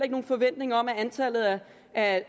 nogen forventning om at